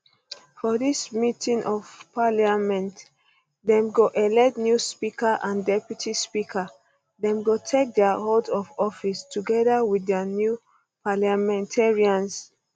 for dis meeting of parliament dem go elect new speaker and deputy speaker dem go take um dia oath of office togeda wit di new parliamentarians